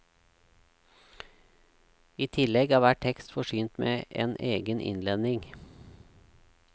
I tillegg er hver tekst forsynt med en egen innledning.